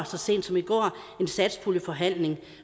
så sent som i går en satspuljeforhandling